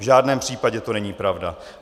V žádném případě to není pravda.